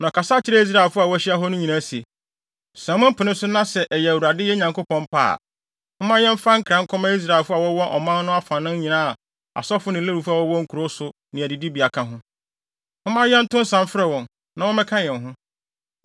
Na ɔkasa kyerɛɛ Israelfo a wɔahyia hɔ no nyinaa se, “Sɛ mopene so na sɛ ɛyɛ Awurade yɛn Nyankopɔn pɛ a, momma yɛmfa nkra nkɔma Israelfo a wɔwɔ ɔman no afanan nyinaa a asɔfo ne Lewifo a wɔwɔ nkurow so ne adidibea ka ho. Momma yɛnto nsa mfrɛ wɔn, na wɔmmɛka yɛn ho.